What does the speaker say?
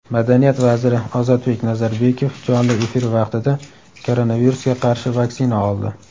Madaniyat vaziri Ozodbek Nazarbekov jonli efir vaqtida koronavirusga qarshi vaksina oldi.